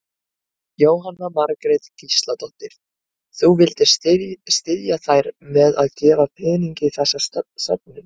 Jóhanna Margrét Gísladóttir: Þú vildir styðja þær með að gefa pening í þessa söfnun?